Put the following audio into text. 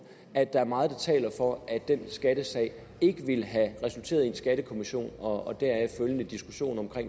at der er meget der taler for at den skattesag ikke ville have resulteret i en skattekommission og deraf følgende diskussion om